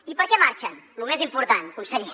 i per què marxen lo més important conseller